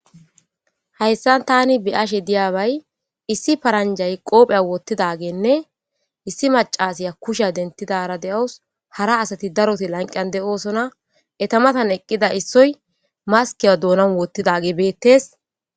hayssan tani biyashe diyaabay issi paranjay qoophey woottidageenne issi macasiya kusha dentidara de7owus hara asati daroti lanqan de7oosona eta matan eqqida issoy maskiyo doonan woottidage beettes